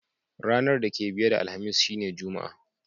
Ranan da ke biye da Alhamis shine Juma'a.